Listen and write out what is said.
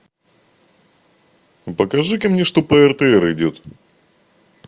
покажи ка мне что по ртр идет